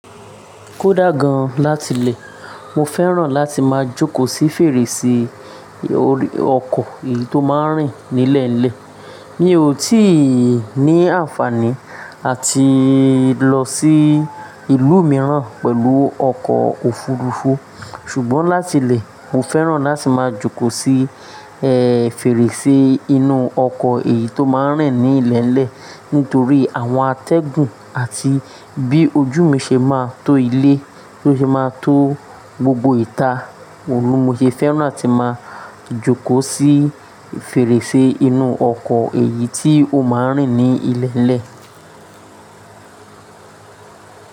Kó dà gan láti lẹ, mo fẹ́ràn láti máa jókó sí fèrèsé ọkọ̀ èyí tó máa ń rìn nílẹ̀ lẹ́ẹ̀. Mi ò tí ì ní àǹfàaní àti lọ sí ìlú mìíràn pẹ̀lú ọkọ̀ òfuurufú. Ṣùgbọ́n láti ilẹ́, mo fẹ́ràn láti máa jókó sí, ẹ, fèrèsé inú ọkọ̀ èyí tó máa ń rìn nílẹ̀ lẹ́ẹ̀ nítorí àwọn atẹ́gùn àti bí ojú mi ṣe máa tó ilé, tó ṣe máa tó gbogbo ìta òlu. Mo ṣe fẹ́ràn áti máa jókó sí fèrèsé inú ọkọ̀ èyí tí ó máa ń rìn nílẹ̀ lẹ́ẹ̀.